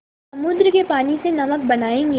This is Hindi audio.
समुद्र के पानी से नमक बनायेंगे